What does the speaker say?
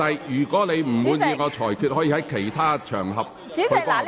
如果你有不滿，可以在其他場合討論。